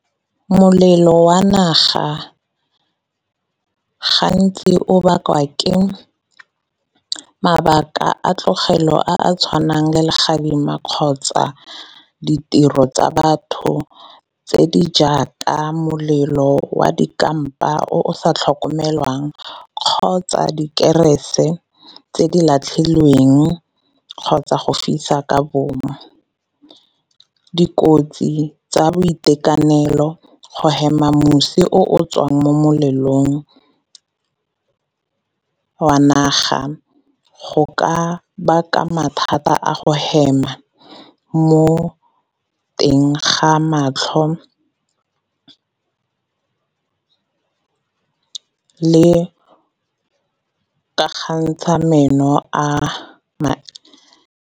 Molelo wa naga gantsi o bakwa ke mabaka a tlogelo a a tshwanang le legadima kgotsa ditiro tsa batho tse di jaaka molelo wa di kampa o o sa tlhokomelwang kgotsa dikerese tse di latlhilweng kgotsa go fisa ka bomo. Dikotsi tsa boitekanelo go hema mosi o tswang mo melelong wa naga, go ka baka mathata a go hema mo teng ga matlho le kakgantsha meno .